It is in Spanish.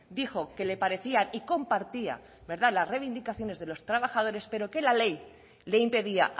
dijo que le parecía y compartía las reivindicaciones de los trabajadores pero que la ley le impedía